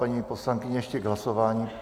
Paní poslankyně ještě k hlasování.